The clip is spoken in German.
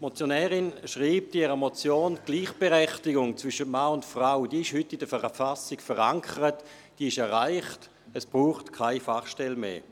Die Motionärin schreibt in ihrer Motion, die Gleichberechtigung zwischen Mann und Frau sei heute in der Verfassung verankert, sie sei erreicht, und es brauche keine Fachstelle mehr.